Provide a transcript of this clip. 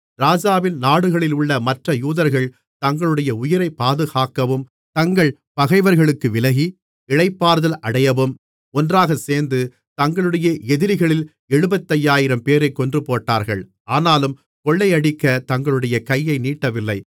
ராஜாவின் நாடுகளிலுள்ள மற்ற யூதர்கள் தங்களுடைய உயிரைப் பாதுகாக்கவும் தங்கள் பகைவர்களுக்கு விலகி இளைப்பாறுதல் அடையவும் ஒன்றாகச்சேர்ந்து தங்களுடைய எதிரிகளில் எழுபத்தையாயிரம்பேரைக் கொன்றுபோட்டார்கள் ஆனாலும் கொள்ளையடிக்கத் தங்களுடைய கையை நீட்டவில்லை